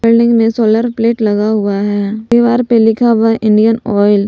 Building में solar plate लगा हुआ है दीवार पे लिखा हुआ इंडियन ऑयल ।